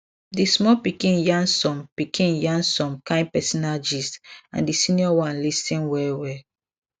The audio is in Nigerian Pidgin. di small pikin yarn some pikin yarn some kind personal gist and di senior one lis ten well well